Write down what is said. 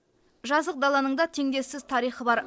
жазық даланың да теңдессіз тарихы бар